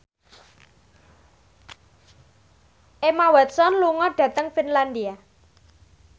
Emma Watson lunga dhateng Finlandia